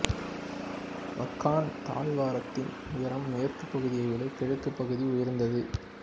வக்கான் தாழ்வாரத்தின் உயரம் மேற்கு பகுதியை விட கிழக்குப் பகுதி உயர்ந்தது